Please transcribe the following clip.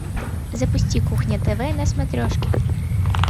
запусти кухня тв на смотрешке